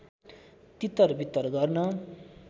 तितर वितर गर्न